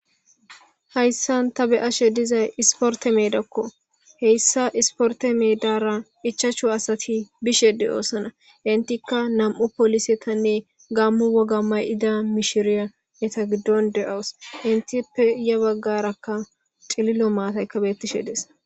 hayssan ta be7ashe dizay isporte meedakko heyssa isporte meedara ichachu asati bishede oosana intikka nam7u poolisetanne gammu wogamay ida mishiriya neta giddon de7awus inti pe ya baggarakka xililo maatayka bettishe dees